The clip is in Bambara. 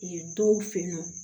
dɔw fɛ yen nɔ